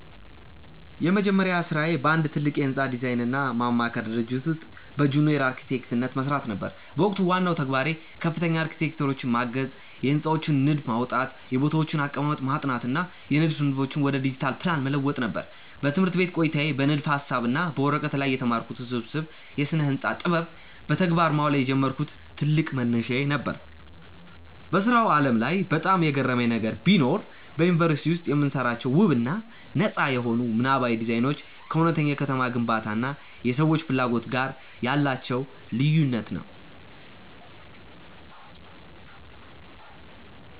የመጀመሪያ ሥራዬ በአንድ ትልቅ የሕንፃ ዲዛይንና ማማከር ድርጅት ውስጥ በጁኒየር አርክቴክትነት መሥራት ነበር። በወቅቱ ዋናው ተግባሬ ከፍተኛ አርክቴክቶችን ማገዝ፣ የሕንፃዎችን ንድፍ ማውጣት፣ የቦታዎችን አቀማመጥ ማጥናት እና የንድፍ ንድፎችን ወደ ዲጂታል ፕላን መለወጥ ነበር። በትምህርት ቤት ቆይታዬ በንድፈ-ሐሳብ እና በወረቀት ላይ የተማርኩትን ውስብስብ የስነ-ህንፃ ጥበብ በተግባር ማዋል የጀመርኩበት ትልቅ መነሻዬ ነበር። በሥራው ዓለም ላይ በጣም የገረመኝ ነገር ቢኖር፣ በዩኒቨርሲቲ ውስጥ የምንሰራቸው ውብ እና ነጻ የሆኑ ምናባዊ ዲዛይኖች ከእውነተኛው የከተማ ግንባታ እና የሰዎች ፍላጎት ጋር ያላቸው ልዩነት ነው።